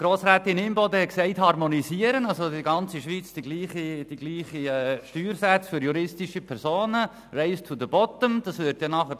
Grossrätin Imboden hat für eine Harmonisierung votiert, also dafür, in der ganzen Schweiz dieselben Steuersätze für juristische Personen vorzuschreiben – «race to the bottom», wie sie es genannt hat.